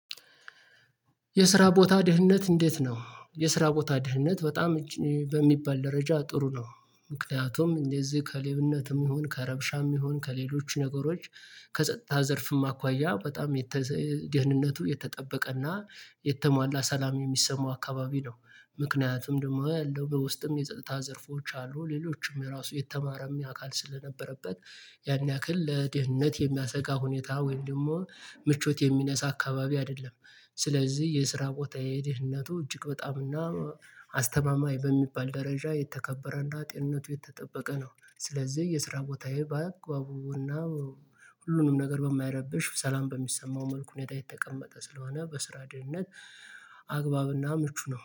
የስራ ቦታ ደህንነት እንዴት ነው? የስራ ቦታ ድህንነት በጣም በሚባል ደረጃ ጥሩ ነው። ምክንያቱም እንደዚህ ከሌብነትም ይሁን ከረብሻም ይሁን ከሌሎች ነገሮች ከጸጥታ ዘርፍም አኳያ በጣም ደህንነቱ የተጠበቀና የተሟላ ሰላም የሚሰማው አካባቢ ነው። ምክንያቱም ደግሞ ያለው በውስጥም የጸጥታ ዘርፎች አሉ ሌሎችም ራሱ የተማረም የአካል ስለነበረበት ያን ያክል ለደህንነት የሚያሰጋ ሁኔታ ወይም ደግሞ ምቾት የሚነሳ አካባቢ አይደለም። ስለዚህ የስራ ቦታ የደህንነቱ እጅግ በጣምና አስተማማኝ በሚባል ደረጃ የተከበረና ጤንነቱ የተጠበቀ ነው። ስለዚህ የስራ ቦታዬ በአግባቡና ሁሉንም ነገር በማይረብሽ ሰላም በሚሰማው መልኩ ሁኔታ የተቀመጠ ስለሆነ በስራ ደህንነት አግባብና ምቹ ነው